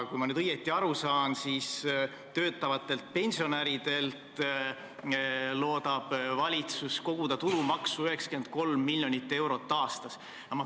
Kui ma õigesti aru saan, siis valitsus loodab töötavatelt pensionäridelt koguda tulumaksu 93 miljonit eurot aastas.